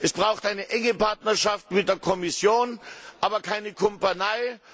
Es braucht eine enge Partnerschaft mit der Kommission, aber keine Kumpanei.